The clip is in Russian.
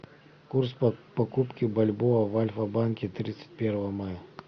курс покупки бальбоа в альфа банке тридцать первого мая